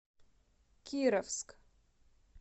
кировск